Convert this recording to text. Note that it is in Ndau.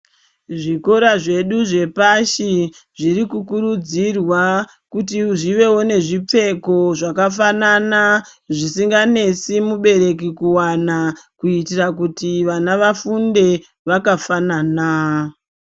Zvikora zvedu zve pashi zviri ku kurudzirwa kuti zvivevo ne zvipfeko zvaka fanana zvisinga nesi mubereki kuwana kuitira kuti vana vafunde vaka fanana.